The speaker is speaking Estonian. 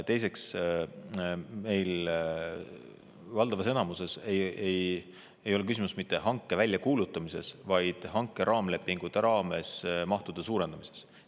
Teiseks, meil valdavas enamuses ei ole küsimus mitte hanke väljakuulutamises, vaid hanke raamlepingute raames mahtude suurendamises.